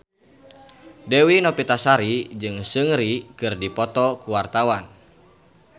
Dewi Novitasari jeung Seungri keur dipoto ku wartawan